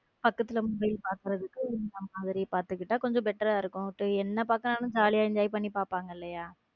பக்கத்திலிருந்து mobile பாக்குறதுக்கு இந்த மாதிரி பார்த்துகிட்டா கொஞ்சம் better ஆ இருக்கும் என்ன பார்க்கிறேன் என்று jolly யா enjoy பண்ணி பாக்குறாங்க இல்லையா.